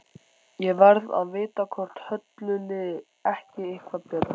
Ég varð að vita hvort Höllu liði ekki eitthvað betur.